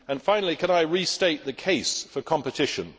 Finally, could I restate the case for competition?